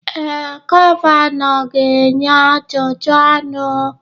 Ee, gọvanọ ga-enye ajụjụ ọnụ